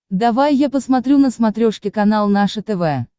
давай я посмотрю на смотрешке канал наше тв